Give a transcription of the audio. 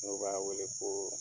N'o b'a wele ko